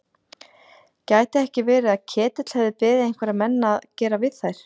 Gæti ekki verið að Ketill hefði beðið einhverja menn að gera við þær?